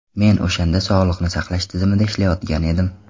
Men o‘shanda sog‘liqni saqlash tizimida ishlayotgan edim.